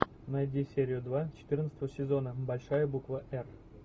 найди серию два четырнадцатого сезона большая буква р